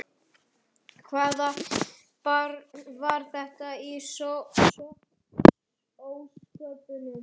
Hvaða barn var þetta í ósköpunum?